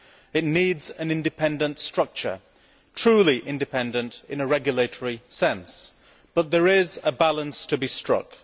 It needs an independent structure truly independent in a regulatory sense but there is a balance to be struck.